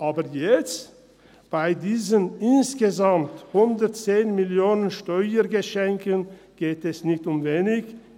Aber jetzt, bei diesen insgesamt 110 Mio. Franken an Steuergeschenken, geht es nicht um wenig.